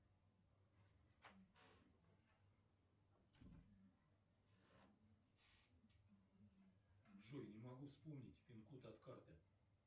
джой не могу вспомнить пин код от карты